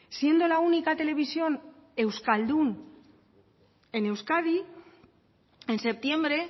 siendo la única televisión euskaldun en euskadi en septiembre